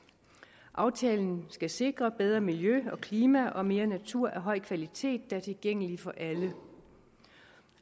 aftalen skal sikre bedre miljø og klima og mere natur af høj kvalitet der er tilgængelig for alle